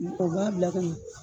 Mɔgɔ b'a bila ka